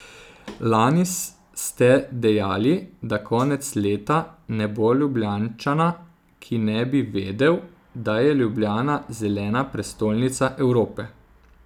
Lani ste dejali, da konec leta ne bo Ljubljančana, ki ne bi vedel, da je Ljubljana zelena prestolnica Evrope.